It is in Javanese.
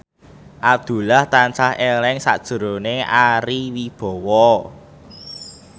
Abdullah tansah eling sakjroning Ari Wibowo